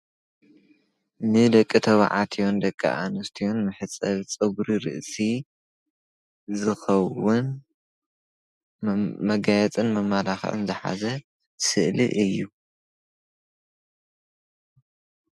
ንደቂ ተባዕትዮን ንደቂ ኣነስትዮን መሕፀቢ ፀጉሪ ርእሲ ዝከውን መጋየፅን መመላክዕን ዝከውን ዝሓዘ ስእሊ እዩ፡፡